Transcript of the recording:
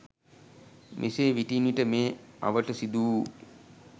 මෙසේ විටින් විට මේ අවට සිදු වූ